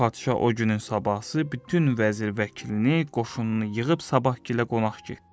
Padşah o günün sabahısı bütün vəzir-vəkilini, qoşununu yığıb sabahkilə qonaq getdi.